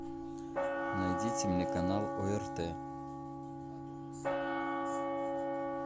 найдите мне канал орт